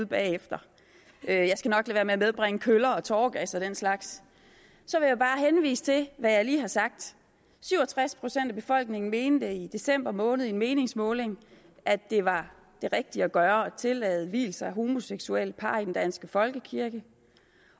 bagefter jeg skal nok lade at medbringe køller tåregas og den slags så vil jeg bare henvise til hvad jeg lige har sagt syv og tres procent af befolkningen mente i december måned i en meningsmåling at det var det rigtige at gøre at tillade vielser af homoseksuelle par i den danske folkekirke